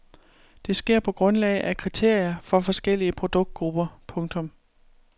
Det sker på grundlag af kriterier for forskellige produktgrupper. punktum